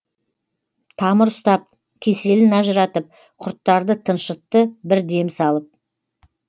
тамыр ұстап кеселін ажыратып құрттарды тыншытты бір дем салып